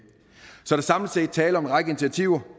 så der er samlet set tale om en række initiativer